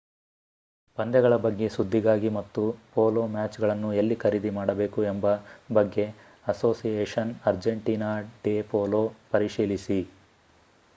ಪಂದ್ಯಗಳ ಬಗ್ಗೆ ಸುದ್ದಿಗಾಗಿ ಮತ್ತು ಪೋಲೋ ಮ್ಯಾಚ್‌ಗಳನ್ನು ಎಲ್ಲಿ ಖರೀದಿ ಮಾಡಬೇಕು ಎಂಬ ಬಗ್ಗೆ ಅಸೋಸಿಯೇಶನ್‌ ಅರ್ಜೆಂಟೀನಾ ಡೆ ಪೋಲೋ ಪರಿಶೀಲಿಸಿ